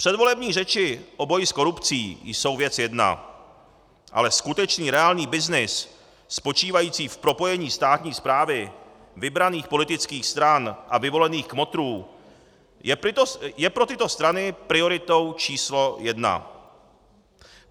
Předvolební řeči o boji s korupcí jsou věc jedna, ale skutečný, reálný byznys spočívající v propojení státní správy vybraných politických stran a vyvolených kmotrů je pro tyto strany prioritou číslo jedna.